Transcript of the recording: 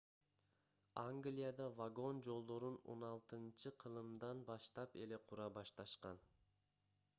англияда вагон жолдорун 16-кылымдан баштап эле кура башташкан